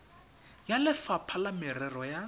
ya lefapha la merero ya